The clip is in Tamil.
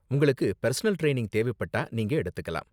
உங்களுக்கு பெர்சனல் ட்ரைனிங் தேவைப்பட்டா, நீங்க எடுத்துக்கலாம்.